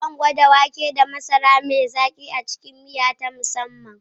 Zan gwada wake da masara mai zaki a cikin miya ta musamman.